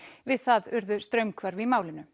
við það urðu straumhvörf í málinu